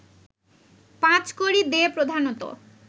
পাঁচকড়ি দে প্রধানত